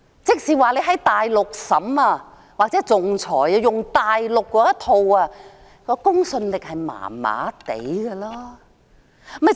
即是說，如果在大陸進行審議或仲裁，套用大陸的法律，公信力便是一般的。